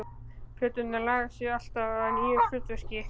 Plöturnar laga sig alltaf að nýju hlutverki.